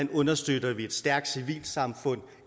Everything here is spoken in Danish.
vi understøtter et stærkt civilsamfund